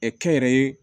kɛnyɛrɛye